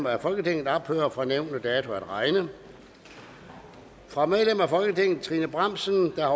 af folketinget ophører fra nævnte dato at regne fra medlem af folketinget trine bramsen der